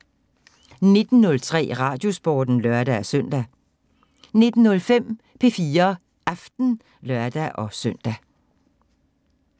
19:03: Radiosporten (lør-søn) 19:05: P4 Aften (lør-søn)